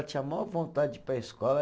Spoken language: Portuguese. Eu tinha a maior vontade de ir para a escola.